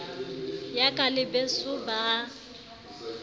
yaka le beso ba a